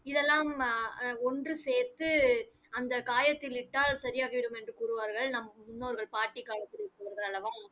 இதெல்லாம் அஹ் அஹ் ஒன்று சேர்த்து அந்தக் காயத்தில் இட்டால் சரியாகிவிடும் என்று கூறுவார்கள் நாம் முன்னோர்கள் பாட்டிக்காலத்தில் இது போன்று அல்லவா